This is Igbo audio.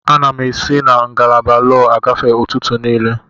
Ana m esi na isi ngalaba lọọ agafe ụtụtụ niile.